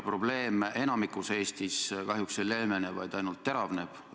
Probleem enamikus Eestis kahjuks ei leevene, vaid ainult teravneb.